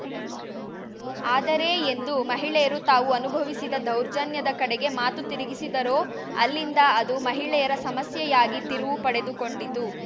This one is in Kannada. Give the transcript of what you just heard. ಆದರೆ ಎಂದು ಮಹಿಳೆಯರು ತಾವು ಅನುಭವಿಸಿದ ದೌರ್ಜನ್ಯದ ಕಡೆಗೆ ಮಾತು ತಿರುಗಿಸಿದರೋ ಅಲ್ಲಿಂದ ಅದು ಮಹಿಳೆಯರ ಸಮಸ್ಯೆಯಾಗಿ ತಿರುವು ಪಡೆದುಕೊಂಡಿತು